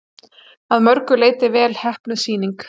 Að mörgu leyti vel heppnuð sýning